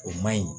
O ma ɲi